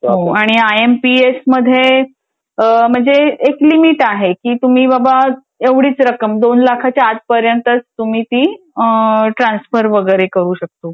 हो आणि I M P S मध्ये म्हणजे एक लिमिट आहे की तुम्ही बाबा एवडीचं रक्कम दोन लाखाच्या आतपर्यंतच तुम्ही तीट्रान्सफर वगैरे करू शकतो.